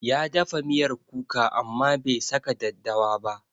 Ya dafa miyar kuka amma bai saka daddawa ba.